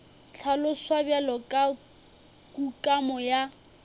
hlaloswa bjalo ka kukamo ya